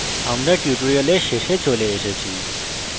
আমরা we tutorial শেষে চলে এসেছি